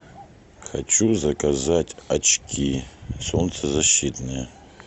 хочу заказать очки солнцезащитные